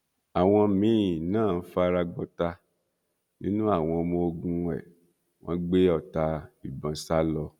àwọn míín náà fara gbọta nínú àwọn ọmọ ogun ẹ wọn gbé ọta ìbọn sá lọ